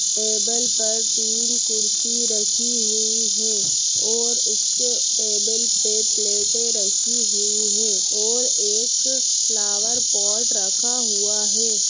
Table पर तीन कुर्सी रखी हुई हैं और उसके टेबल पे प्लेटें रखी हुई हैं और एक फ्लॉवर पॉट रखा हुआ है।